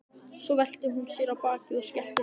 Svo velti hún sér á bakið og skellti upp úr.